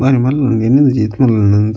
ಬಾರಿ ಮಲ್ಲ ಒಂಜಿ ಎನ್ನೊಂದುಜಿ ಈತ್ ಮಲ್ಲ ಉಂಡ್ಂದ್.